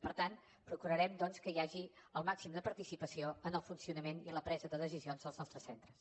per tant procurarem doncs que hi hagi el màxim de participació en el funcionament i la presa de decisions dels nostres centres